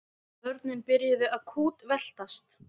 Börnin byrjuðu að kútveltast.